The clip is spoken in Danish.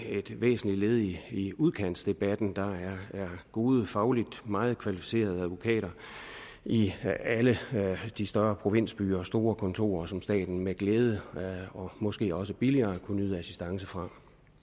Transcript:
et væsentligt led i udkantsdebatten der er gode fagligt meget kvalificerede advokater i alle de større provinsbyer store kontorer som staten med glæde og måske også billigere kunne nyde assistance fra